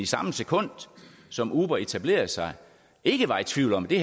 samme sekund som uber etablerede sig ikke var i tvivl om at det